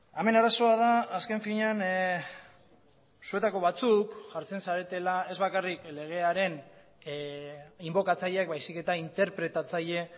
hemen arazoa da azken finean zuetako batzuk jartzen zaretela ez bakarrik legearen inbokatzaileak baizik eta interpretatzaile